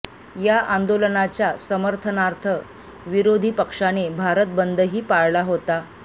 या आंदोलनाच्या समर्थनार्थ विरोधी पक्षाने भारत बंदही पाळला होता